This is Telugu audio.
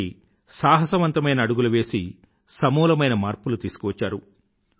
వాటికీ సాహసవంతమైన అడుగులు వేసి సమూలమైన మార్పులు తీసుకువచ్చారు